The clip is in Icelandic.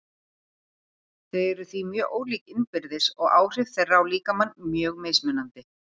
Þau eru því mjög ólík innbyrðis og áhrif þeirra á líkamann mjög mismunandi.